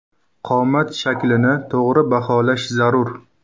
Qomat shaklini to‘g‘ri baholash zarur.